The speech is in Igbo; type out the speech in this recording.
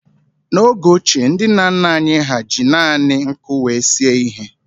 N'oge ochie, ndị nna nna anyị ha ji naanị nkụ wee sie ihe.